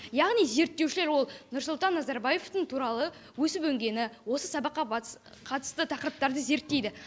яғни зерттеушілер ол нұрсұлтан назарбаевтың туралы өсіп өнгені осы сабаққа қатысты тақырыптарды зерттейді